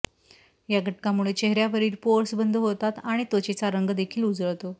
या घटकामुळे चेहऱ्यावरील पोअर्स बंद होतात आणि त्वचेचा रंग देखील उजळतो